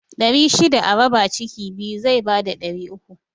Ɗari shida a raba ciki biyu zai bada ɗari uku